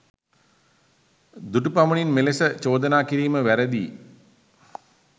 දුටු පමණින් මෙලෙස චෝදනා කිරීම වැරදියී